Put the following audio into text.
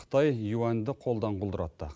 қытай юаньді қолдан құлдыратты